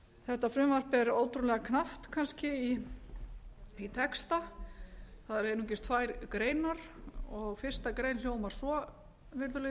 þetta frumvarp er ótrúlega knappt í kannski texta það eru einungis tvær greinar og fyrstu grein hljómar svo virðulegi